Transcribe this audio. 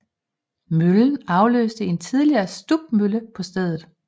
Møllen afløste en tidligere stubmølle på stedet